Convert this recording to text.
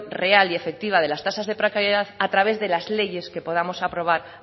real y efectiva de las tasas de precariedad a través de las leyes que podamos aprobar